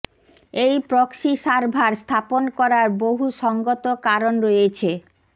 এই proxy server স্থাপ্ন করার বহু সঙ্গত কারণ রয়েছেঃ